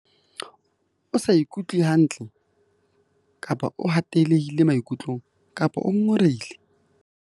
O sa ikutlwe hantle kapa o hatellehile maikutlong kapa o ngongorehile?